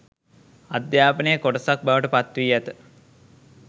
අධ්‍යාපනයේ කොටසක් බවට පත්වී ඇත.